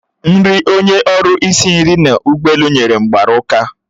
Nri onye ọrụ isi nri n'ụgbọelu nyere m mgbara ụka